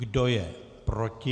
Kdo je proti?